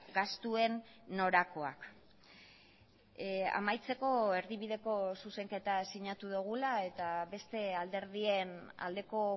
gastuen norakoak amaitzeko erdibideko zuzenketa sinatu dugula eta beste alderdien aldeko